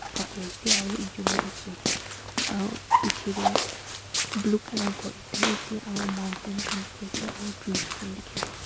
lai se aru ekjont tu uthi ase aru piche te blue colour gour ekta ase aru mountent khan dekhi ase aru chus khan dekhi ase.